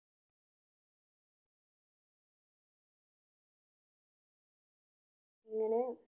അങ്ങനെ